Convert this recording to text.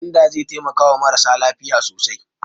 Gwanda zai taimakawa marasa lafiya sosai.